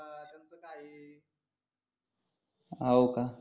हो का